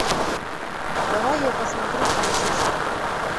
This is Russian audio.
давай я посмотрю франциск